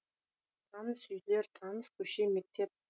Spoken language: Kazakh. таныс үйлер таныс көше мектеп